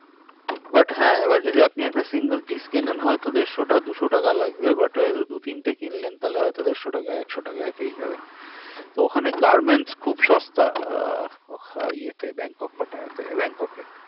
But হ্যাঁ এবার আপনি একটা single piece হয় তো দেড়শোটা দুশো টাকা লাগবে। but হয় তো দু তিনটে কিনলেন তাহলে হয়তো দেড়শো টাকায় একশো টাকায় পেয়ে যাবেন। তো ওখানে garments খুব সস্তা আহ ইয়েতে ব্যাংকক, পাটায়তে ব্যাংককে